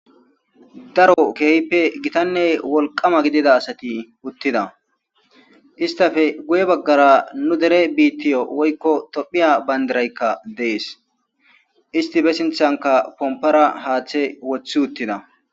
Daro keehipe gitane wolqama gidiza asati uthida istape guye bagara nu dere biitiyo woyko tophiya bandirayka de'es isti be sinthanka kompara haathe wothutida.